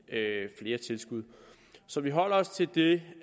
flere tilskud så vi holder os til det